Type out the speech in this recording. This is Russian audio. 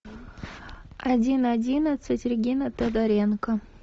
один одиннадцать регина тодоренко